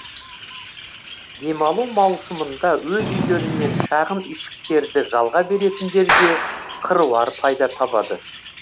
демалу маусымында өз үйлері мен шағын үйшіктерді жалға беретіндер де қыруар пайда табады